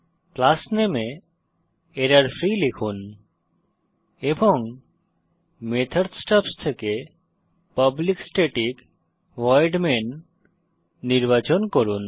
class নামে এ error free লিখুন এবং মেথড স্টাবস থেকে পাবলিক স্ট্যাটিক ভয়েড মেইন নির্বাচন করুন